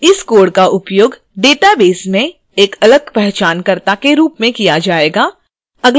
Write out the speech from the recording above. इस code का उपयोग database में एक अलग पहचानकर्ता के रूप में किया जाएगा